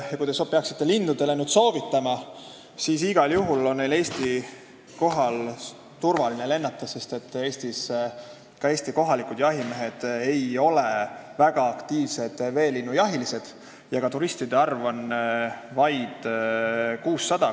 Kui te peaksite lindudele midagi soovitama, siis igal juhul on neil Eesti kohal turvaline lennata, sest Eesti kohalikud jahimehed ei ole väga aktiivsed veelinnujahilised ja ka selliseid turiste on vaid 600.